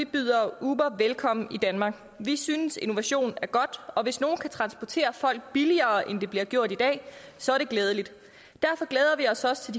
byder uber velkommen i danmark vi synes innovation er godt og hvis nogen kan transportere folk billigere end det bliver gjort i dag så er det glædeligt derfor glæder vi os også